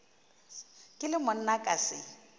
ke le monna ka se